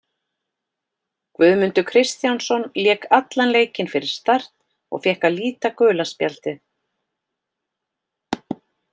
Guðmundur Kristjánsson lék allan leikinn fyrir Start og fékk að líta gula spjaldið.